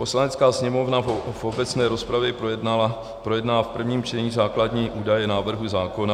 Poslanecká sněmovna v obecné rozpravě projedná v prvním čtení základní údaje návrhu zákona.